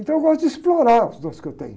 Então eu gosto de explorar os dons que eu tenho.